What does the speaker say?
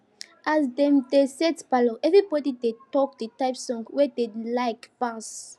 as dem dey set palour everybody dey talk the type song wey dem like pass